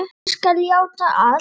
Ég skal játa allt.